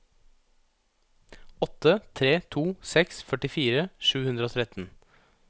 åtte tre to seks førtifire sju hundre og tretten